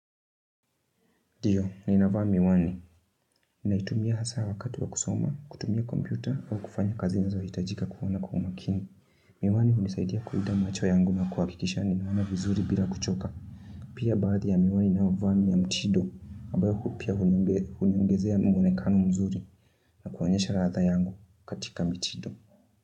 Ndio, ninavaa Miwani. Naitumia hasa wakati wa kusoma, kutumia kompyuta, au kufanya kazi nazohitajika kuwa na umakini. Miwani hunisaidia kulinda macho yangu na kuhakikisha. Ninaona vizuri bila kuchoka. Pia baadhi ya miwani ninayovaa ni ya mtindo, ambayo pia huniongezea mwonekano mzuri. Na kuonyesha ladha yangu katika mitindo.